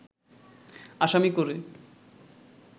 আসামি করে